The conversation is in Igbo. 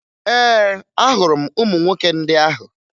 Ee, ahụrụ m ụmụ nwoke ndị ahụ